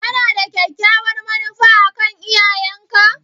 Kana da kyakkyawar manufa a kan iyayenka?